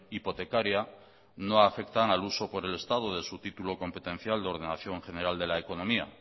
hipotecaria no afectan al uso por el estado de su título competencial de ordenación general de la economía